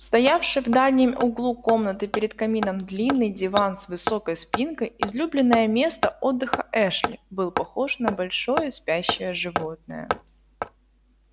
стоявший в дальнем углу комнаты перед камином длинный диван с высокой спинкой излюбленное место отдыха эшли был похож на большое спящее животное